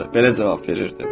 Belə cavab verirdi.